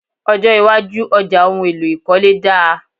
Ọjọ́ iwájú ọjà ohun èlò ìkọ́lé dáa.